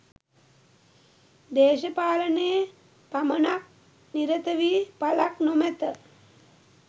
දේශපාලනයේ පමණක් නිරත වී ඵලක් නොමැත.